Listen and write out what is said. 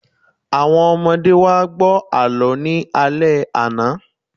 Àwọn ọmọdé wá gbọ́ àlọ́ ní alẹ́ àná